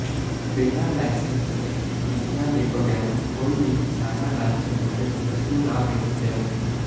ਬਿਨ੍ਹਾਂ ਲਾਇਸੰਸ ਅਤੇ ਅਡੀਸਨਾਂ ਦੇ ਬਗੈਰ ਕੋਈ ਵੀ ਕਿਸਾਨਾਂ ਨਾਲ ਸਬੰਧਤ ਵਸਤੂ ਨਾ ਵੇਚੀ ਜਾਵੇ